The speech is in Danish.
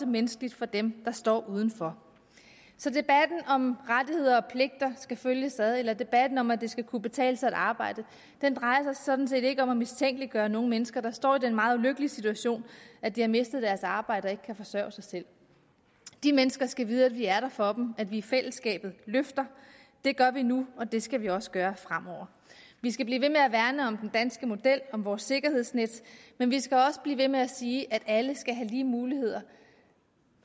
menneskeligt for dem der står udenfor så debatten om at rettigheder og pligter skal følges ad og debatten om at det skal kunne betale sig at arbejde drejer sig sådan set ikke om at mistænkeliggøre nogen mennesker der står i den meget ulykkelige situation at de har mistet deres arbejde og ikke kan forsørge sig selv de mennesker skal vide at vi er der for dem at vi i fællesskabet løfter det gør vi nu og det skal vi også gøre fremover vi skal blive ved med at værne om den danske model om vores sikkerhedsnet men vi skal også blive ved med at sige at alle skal have lige muligheder